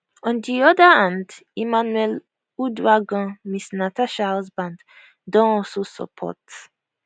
on di oda hand emmanuel uduaghan mrs natasha husband don alsosupport